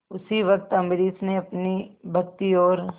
उसी वक्त अम्बरीश ने अपनी भक्ति और